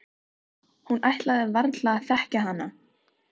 Hún ætlaði varla að þekkja hana.